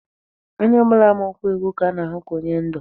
Onye ọ bụla ma okwu ekwu ka a na-ahụ ka onye ndú.